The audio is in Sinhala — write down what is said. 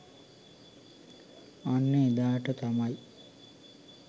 අන්න එදාට තමයි